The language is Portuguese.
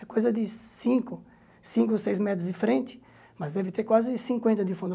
É coisa de cinco cinco, seis metros de frente, mas deve ter quase cinquenta de fundo.